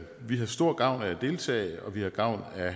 vi har stor gavn af at deltage og vi har gavn af